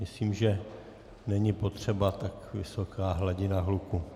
Myslím, že není potřeba tak vysoká hladina hluku.